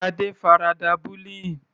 Shade farada bullying.